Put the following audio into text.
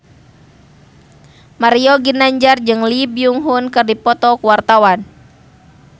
Mario Ginanjar jeung Lee Byung Hun keur dipoto ku wartawan